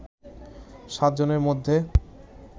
সাতজনের মধ্যে